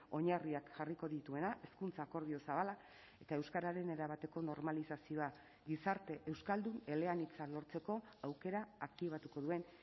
oinarriak jarriko dituena hezkuntza akordio zabala eta euskararen erabateko normalizazioa gizarte euskaldun eleanitza lortzeko aukera aktibatuko duen